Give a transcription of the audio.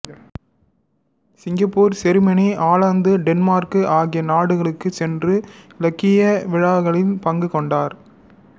Singapore செருமனி ஆலந்து Denmark ஆகிய நாடுகளுக்குச் சென்று இலக்கிய விழாக்களில் பங்கு கொண்டார்